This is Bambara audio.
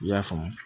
I y'a faamu